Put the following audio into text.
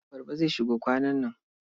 Abarba zai shigo kwanan nan.